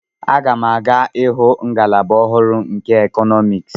M ga-aga ịhụ ngalaba ọhụrụ nke Economics.